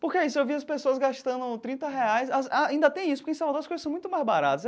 Porque é isso eu vi as pessoas gastando trinta reais, ah ainda tem isso, que em Salvador as coisas são muito mais baratas.